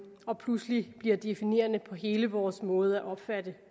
og pludselig bliver definerende for hele vores måde at opfatte